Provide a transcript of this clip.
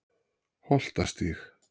Holtastíg